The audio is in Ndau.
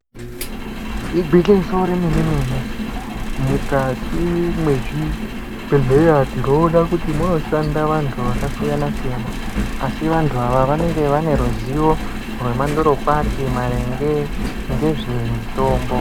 Igwinyiso remene mene mukati mwezvibhedhleya tinoona kuti munoshanda vantu vakasiyana siyana asi vantu ava vanenge vaneruzivo rwemandorokwati maringe ngezvemutombo.